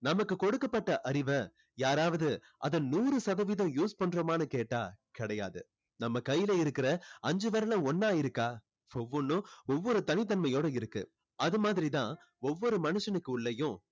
நமக்கு கொடுக்கபட்ட அறிவை யாராவது அதை நூறு சதவிகிதம் use பண்ணுறோமான்னு கேட்டா கிடையாது நம்ம கையில இருக்குற அஞ்சு விரலும் ஒண்ணா இருக்கா ஒவ்வொண்ணும் ஒவ்வொரு தனித்தன்மையோட இருக்கு அது மாதிரி தான் ஒவ்வொரு மனுஷனுக்கு உள்ளேயும்